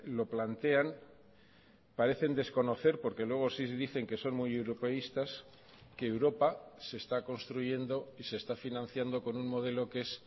lo plantean parecen desconocer porque luego sí dicen que son muy europeístas que europa se está construyendo y se está financiando con un modelo que es